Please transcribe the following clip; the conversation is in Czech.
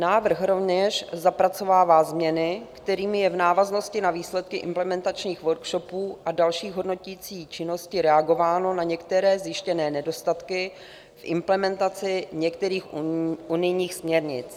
Návrh rovněž zapracovává změny, kterým je v návaznosti na výsledky implementačních worskhopů a další hodnoticí činnosti reagováno na některé zjištěné nedostatky v implementaci některých unijních směrnic.